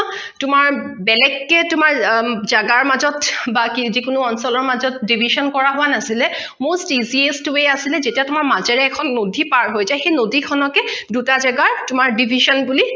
তোমাৰ বেলেগ কে তোমাৰ জেগাৰ মাজত বা যিকোনো অঞ্চলৰ মাজত division কৰা হোৱা নাছিলে most easiest way আছিলে যেতিয়া তোমাৰ মাজেৰে এখন নদী পাৰ হৈ যায় সেই নদী খনকে দুটা জেগাৰ division বুলি